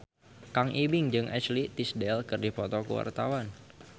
Kang Ibing jeung Ashley Tisdale keur dipoto ku wartawan